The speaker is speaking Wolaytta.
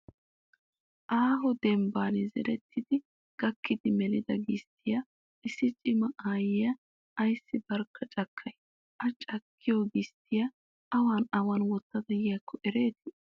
Aaho dembban zerettidi gakkidi melida gisttiyaa issi cima aayyiyaa ayissi barkka cakkayi? A cakkiyo gisttiyaa awan awan wottada yiyaakko erettii?